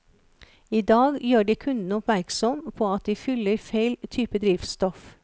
I dag gjør de kunden oppmerksom på at de fyller feil type drivstoff.